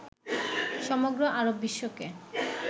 সমগ্র আরব বিশ্বকে